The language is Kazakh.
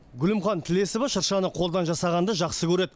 гүлімхан тілесова шыршаны қолдан жасағанды жақсы көреді